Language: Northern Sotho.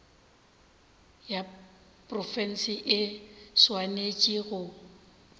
ya profense e swanetše go